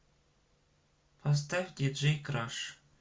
поставь диджей краш